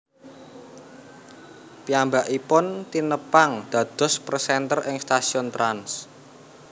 Piyambakipun tinepang dados presenter ing stasiun Trans